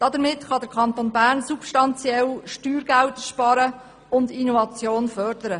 Damit kann der Kanton Bern substanziell Steuergelder sparen und Innovation fördern.